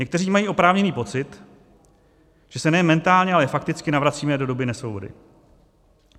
Někteří mají oprávněný pocit, že se nejen mentálně, ale fakticky navracíme do doby nesvobody.